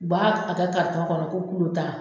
U b'a kɛ karitɔn kɔnɔ ko kulutan.